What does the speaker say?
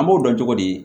An b'o dɔn cogo di